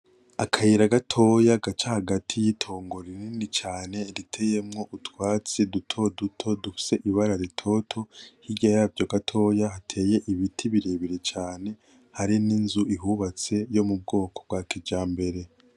Akayira gatoye gaca hagati yitongo rinini cane riteye mwo utwatsi dutoto dufise ibara ritoto , hirya yavyo gatoya hateye ibiti birebire cane hari n'inzu ihubatse y'ubwoko za kijambere